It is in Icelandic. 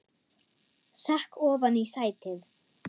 Sekk ofan í sætið.